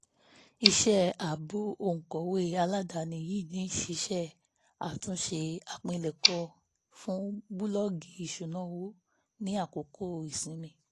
iṣẹ́ àbọ̀ òǹkọ̀wé aládàáni yìí ni ṣíṣe àtúnṣe àpilẹ̀kọ fún búlọ́ọ̀gì ìṣúná owó ní àkókò ìsinmi